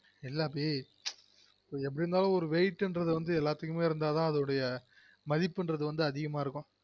இல்ல அபி எப்டி இருந்தாலும் wait ங்கறது எல்லாத்துக்குமே இருந்தா தான் அதொடய மதிப்பு அதிகமா இருக்கும்